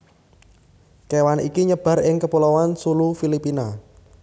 kewan iki nyebar ing kepulauan Sulu Filipina